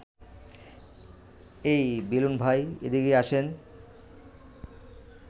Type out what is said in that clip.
এই বেলুন ভাই, এদিকে আসেন